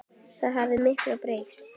Það hefur mikið breyst.